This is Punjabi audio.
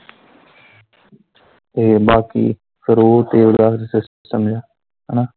ਤੇ ਬਾਕੀ ਰੋਹ ਤੇਲ ਦਾ ਕਰਨਾ ਹਨਾਂ।